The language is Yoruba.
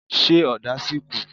Ṣé ọ̀dà sì kù?